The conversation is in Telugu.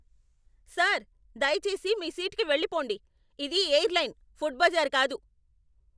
సర్, దయచేసి మీ సీట్కి వెళ్లిపోండి. ఇది ఎయిర్లైన్, ఫుడ్ బజార్ కాదు!